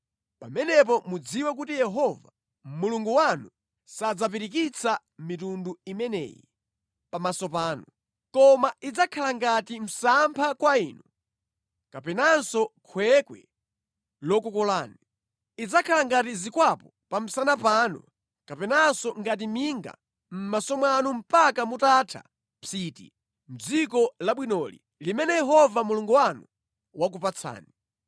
pamenepo mudziwe kuti Yehova, Mulungu wanu, sadzapirikitsa mitundu imeneyi pamaso panu, koma idzakhala ngati msampha kwa inu kapenanso khwekhwe lokukolani. Idzakhala ngati zikwapu pa msana panu kapenanso ngati minga mʼmaso mwanu mpaka mutatha psiti mʼdziko labwinoli limene Yehova Mulungu wanu wakupatsani.